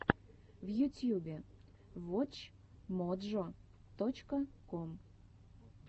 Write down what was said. в ютьюбе вотч моджо точка ком